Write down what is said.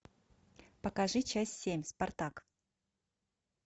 покажи часть семь спартак